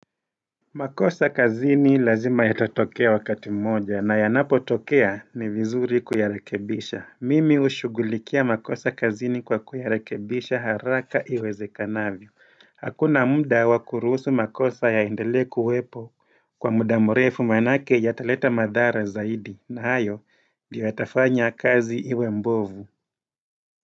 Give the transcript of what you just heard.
Makosa kazini lazima yatatokea wakati mmoja na yanapo tokea ni vizuri kuyarekebisha Mimi hushughulikia makosa kazini kwa kuyarekebisha haraka iweze kanavyo Hakuna muda wakuruhusu makosa yaendele kuwepo kwa muda mrefu manake yataleta madhara zaidi na hayo ndio yatafanya kazi iwe mbovu.